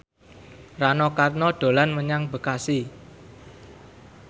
Rano Karno dolan menyang Bekasi